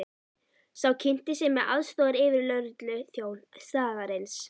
Sá kynnti sig sem aðstoðaryfirlögregluþjón staðarins.